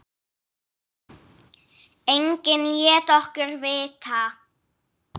Enginn lét okkur vita.